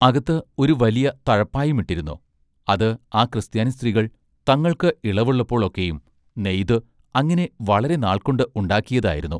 അകത്ത് ഒരു വല്യ തഴപ്പായുമിട്ടിരുന്നു. അത് ആ ക്രിസ്ത്യാനിസ്ത്രികൾ തങ്ങൾക്ക് ഇളവുള്ളപ്പോൾ ഒക്കെയും നെയ്ത് അങ്ങിനെ വളരെ നാൾകൊണ്ട് ഉണ്ടാക്കിയതായിരുന്നു.